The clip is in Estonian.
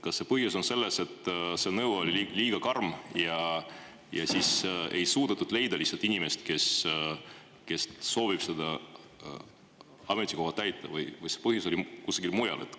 Kas põhjus on selles, et see nõue oli liiga karm, seetõttu ei ole lihtsalt suudetud leida inimest, kes soovib seda ametikohta täita, või oli põhjus kusagil mujal?